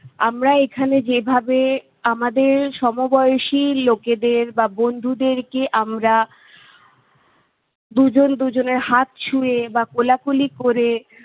আমরা এখানে যেভাবে আমাদের সমবয়সী লোকেদের বা বন্ধুদেরকে আমরা দুজন দুজনের হাত ছুঁয়ে বা কোলাকুলি করে